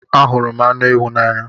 Anhuru m anu ewu n'anya